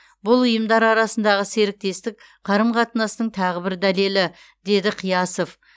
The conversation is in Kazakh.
бұл ұйымдар арасындағы серіктестік қарым қатынастың тағы бір дәлелі деді қиясов